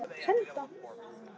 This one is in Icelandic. Heimir: Svo einfalt er það?